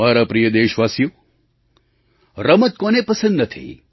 મારા પ્રિય દેશવાસીઓ રમત કોને પસંદ નથી